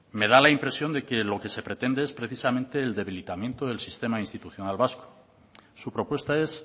me da la impresión de que lo que se pretende es precisamente el debilitamiento del sistema institucional vasco su propuesta es